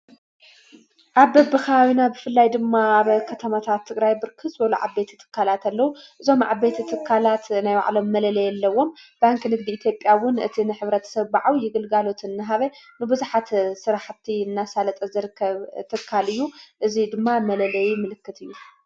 ኣብ በብኻዊና ብፍላይ ድማ ብ ኸተመታት ትግራይ ብርክስ በሎዓቤት እትካላት ኣለዉ እዞም ዕቤት እትካላት ናይዋዕሎም መለለየ ኣለዎም ባንኪ ንግዲ ኢቲጴያውን እቲ ንኅብረት ሰብብዓው ይግልጋሎት እንሃበ ንብዙኃተ ሠራሕቲ እናሣለጠ ዘርከብ ተካልእዩ እዙይ ድማ መለለይ ምልክት እዩ።